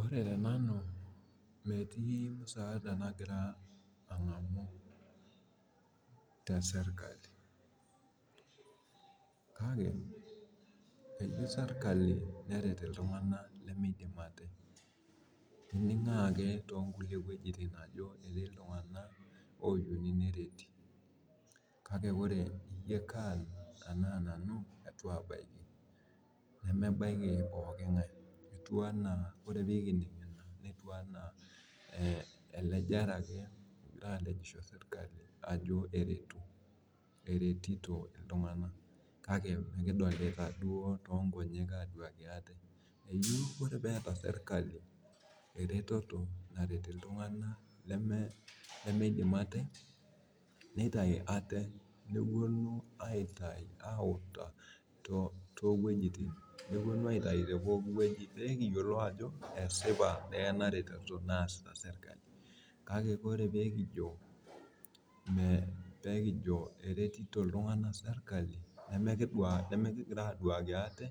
Ore tenanu metii. musaada nagira aangamu tesirkali, kake eyieu sirkali neret iltunganak, lemeidim ate. iningoo ake too nkulie wuejitin ajo etii iltunganak lemeyieu nereti. kaks ore nanu eitu aabaiki. nemenaiki pooki ng'ae etiu anaa, elejare ake egirae aalejisho. eretito iltunganak kale mikidolita duo too nkonyek, ajo. keyieu ore peeta sirkali eretoto neret iltunganak lemeidim ate. nitayu ate, nepuonu aitayu te pooki wueji. pew ekiyiolou ajo esipa ebae naretito naasita sirkali. kake ore peekijo, eretito iltunganak serkali. neme, kigira aduaki ate